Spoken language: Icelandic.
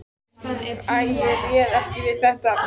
Æ, ég réð ekki við þetta.